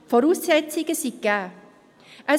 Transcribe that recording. Die Voraussetzungen sind gegeben.